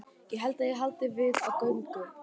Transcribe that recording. Helst ég haldist við á göngu.